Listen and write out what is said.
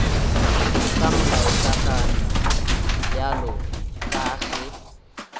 ka molaokakanywa bjalo ka ge